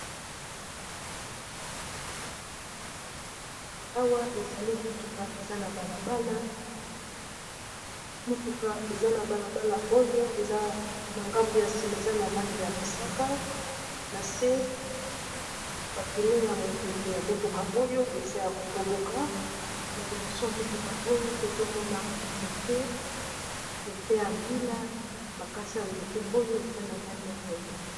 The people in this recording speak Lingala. Awa ezali motuka eza a balabalamotuka eza na balabala oyo eza na ngambu ya nsima eza na langi ya mosaka na se bapine ya mopepe ya motuka oyo eza ya kotoboka na liboso ya motuka oyo tozomona nzete ya mbina bakasi ya nzete oyo eza na langi ya pondo.